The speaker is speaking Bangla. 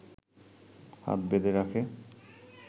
হাত বেঁধে রাখে